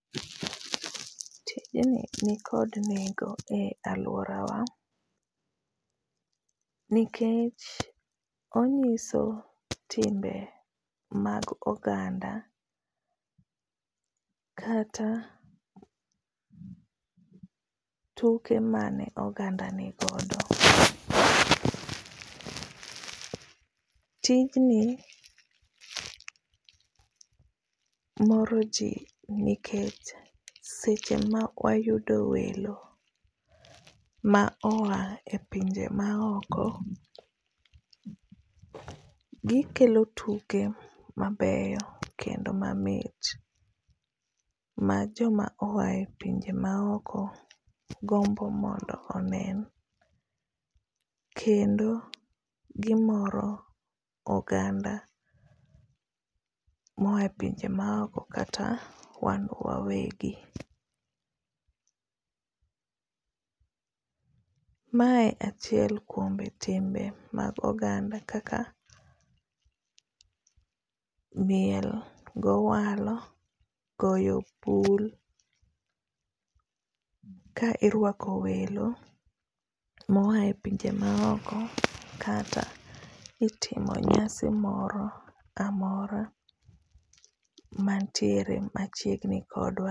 Tijni nikod nengo e alworawa, nikech onyiso timbe mag oganda kata tuke mane oganda nigodo. Tijni, moro ji nikech seche ma wayudo welo ma oya e pije maoko, gikelo tuke mabeyo kendo mamit. Ma joma oya e pinje ma oko gombo mondo onen. Kendo gimoro oganda, moa e pinje maoko kata wan wawegi. Mae achiel kuom timbe mag oganda kaka miel gi owalo, goyo bul ka irwako welo ma oya e pinje ma oko, kata itimo nyasi moro amora mantiere machiegni kodwa.